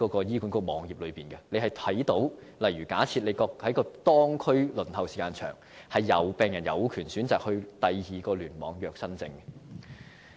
醫管局網頁已註明這一點，假設病人看到當區輪候時間很長，他們有權選擇在其他聯網預約新症。